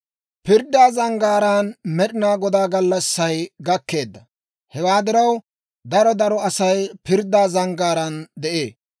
Pirddaa zanggaaraan Med'inaa Godaa gallassay gakkeedda; hewaa diraw, daro daro Asay pirddaa zanggaaraan de'ee.